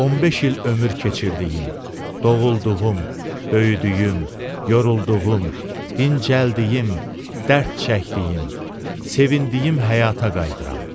15 il ömür keçirdiyim, doğulduğum, böyüdüyüm, yorulduğum, dincəldiyim, dərd çəkdiyim, sevindiyim həyata qayıdıram.